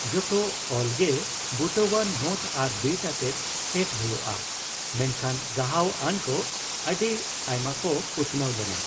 ᱡᱚᱛᱚ ᱚᱞᱜᱮ ᱵᱩᱴᱟᱹᱣᱟᱱ ᱱᱳᱴ ᱟᱨ ᱵᱤᱴ ᱟᱛᱮᱫ ᱥᱮᱴ ᱦᱳᱭᱳᱜᱼᱟ, ᱢᱮᱱᱠᱷᱟᱱ ᱜᱟᱦᱟᱣ ᱟᱱᱠᱚ ᱟᱹᱰᱤ ᱟᱭᱢᱟᱠᱚ ᱩᱛᱱᱟᱹᱣ ᱞᱮᱱᱟ ᱾